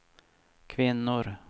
kvinnor